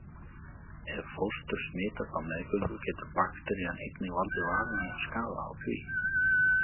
Ef fóstur smitast á meðgöngu getur bakterían einnig valdið varanlegum skaða á því.